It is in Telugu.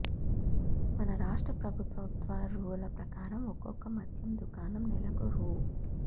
మన రాష్ట్ర ప్రభుత్వ ఉత్తర్వుల ప్రకారం ఒకొక్క మద్యం దుకాణం నెలకు రూ